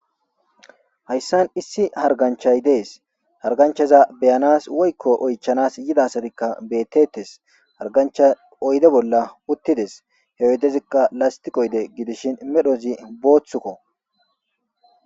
Hayssan issi hargganchchay dees; harganchchaxa be7anaz woykko oychchanassi yiida asathikka beeththeeththes; hargganchchay oyde bolla uththi des; he oydezikka lasththiqe oyde gidishin medhozi booththa koo.